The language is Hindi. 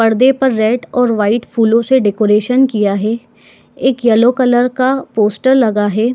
परदे पर रेड और वाइट फूलो से डेकोरेशन किया है एक येलो कलर का पोस्टर लगा है।